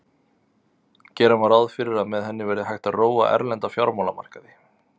Gera má ráð fyrir að með henni verði hægt að róa erlenda fjármálamarkaði.